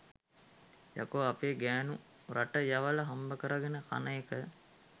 යකෝ අපේ ගැනු රට යවල හම්බකරගෙන කන එක